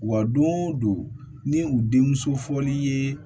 Wa don o don ni u denmuso fɔl'i ye